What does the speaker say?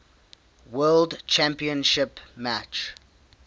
world championship match